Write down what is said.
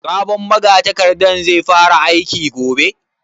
Sabon magatakardan zai fara aiki gobe?